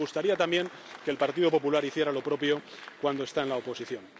Y nos gustaría también que el Partido Popular hiciera lo propio cuando está en la oposición.